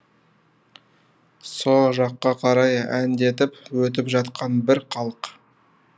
со жаққа қарай әндетіп өтіп жатқан бір халық